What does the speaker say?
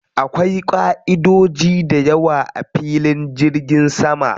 Akwai ƙaʼidodoji dayawa a filin jirgin sama.